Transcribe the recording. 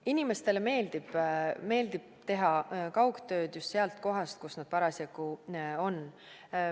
Inimestele meeldib teha kaugtööd just seal kohas, kus nad parasjagu on.